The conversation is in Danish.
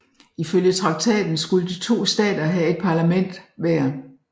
Ifølge traktaten skulle de to stater have et parlament hver